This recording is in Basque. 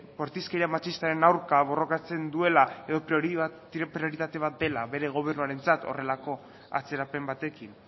bortizkeria matxistaren aurka borrokatzen duela edo prioritate bat dela bere gobernuarentzat horrelako atzerapen batekin